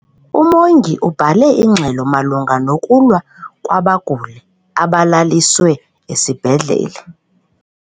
Umongi ubhale ingxelo malunga nokulwa kwabaguli abalaliswe esibhedlele.